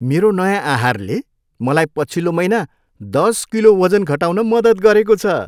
मेरो नयाँ आहारले मलाई पछिल्लो महिना दस किलो वजन घटाउन मद्दत गरेको छ।